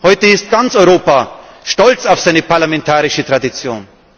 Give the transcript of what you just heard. Heute ist ganz Europa stolz auf seine parlamentarische Tradition.